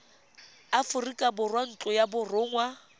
aforika borwa ntlo ya borongwa